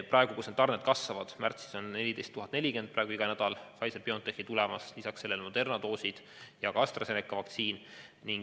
Praegu tarned kasvavad, märtsis on iga nädal tulemas 14 040 doosi Pfizer/BioNtechi, lisaks sellele Moderna doosid ja ka AstraZeneca vaktsiin.